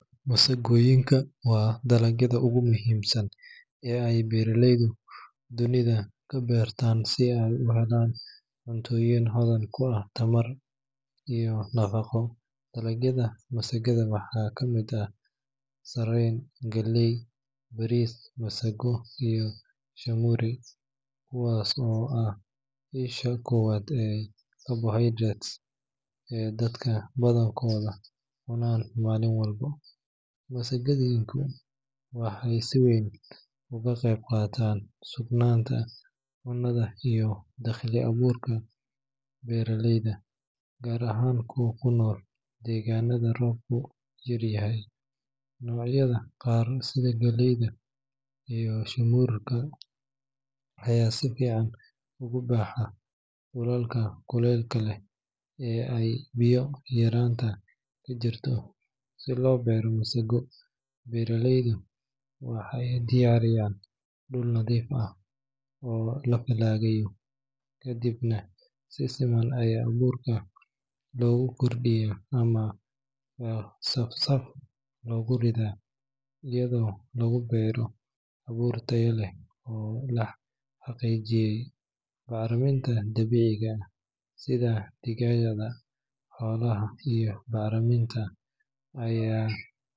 Masagooyinka waa dalagyada ugu muhiimsan ee ay beeraleydu dunida ka beertaan si ay u helaan cunnooyin hodan ku ah tamar iyo nafaqo. Dalagyada masagada waxaa ka mid ah sarreen, galley, bariis, masaggo, iyo shaamur, kuwaas oo ah isha koowaad ee carbohydrates ee dadka badankoodu cunaan maalin walba. Masagooyinku waxay si weyn uga qayb qaataan sugnaanta cunnada iyo dakhli abuurka beeraleyda, gaar ahaan kuwa ku nool deegaannada roobku yar yahay. Noocyada qaar sida galleyda iyo shaamurka ayaa si fiican ugu baxa dhulalka kuleylka leh ee ay biyo yaraantu ka jirto. Si loo beero masago, beeraleydu waxay diyaariyaan dhul nadiif ah oo la falaagayo, kadibna si siman ayaa abuurka loogu firdhiyaa ama saf saf loogu ridaa iyadoo lagu beero abuur tayo leh oo la xaqiijiyay. Bacriminta dabiiciga ah sida digada xoolaha iyo bacriminta aya.